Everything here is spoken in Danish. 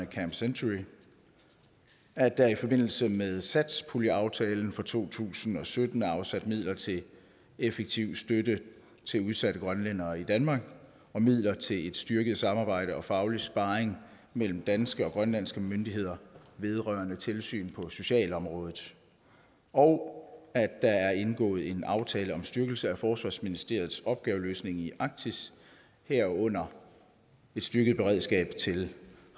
camp century at der i forbindelse med satspuljeaftalen for to tusind og sytten er afsat midler til effektiv støtte til udsatte grønlændere i danmark og midler til et styrket samarbejde og faglig sparring mellem danske og grønlandske myndigheder vedrørende tilsynet på socialområdet og at der er indgået en aftale om styrkelse af forsvarsministeriets opgaveløsning i arktis herunder et styrket beredskab til